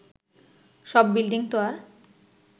সব বিল্ডিংতো আর